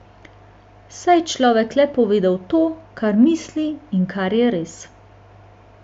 Saj je človek le povedal to, kar misli in kar je res.